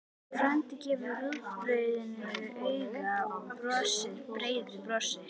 Frændi gefur rúgbrauðinu auga og brosir breiðu brosi.